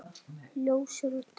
Ljósir og dökkir.